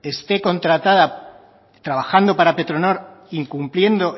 esté contratada trabajando para petronor incumpliendo